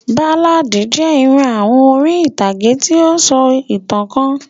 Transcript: Báládì jẹ irú àwọn orin ìtàn ti o sọ ìtàn kan.